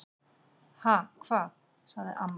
"""Ha, hvað? sagði amma."""